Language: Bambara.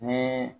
Ni